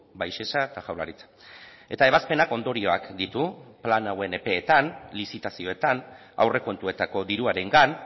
bai sesa eta jaurlaritza eta ebazpenak ondorioak ditu plan hauen epeetan lizitazioetan aurrekontuetako diruarengan